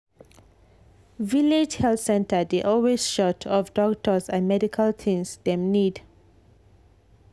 village health center dey always short of doctors and medical things dem need.